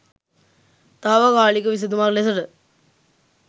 තාවකාලික විසඳුමක් ලෙසට